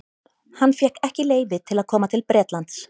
Hann fékk ekki leyfi til að koma til Bretlands.